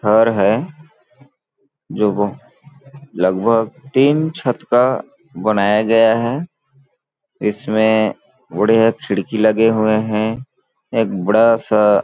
घर है जो वो लगभग तीन छत का बनाया गया है इसमें बढ़िया खिड़की लगे हुए हैं एक बड़ा सा --